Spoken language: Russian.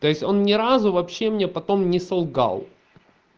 то еть он ни разу вообще мне потом не солгал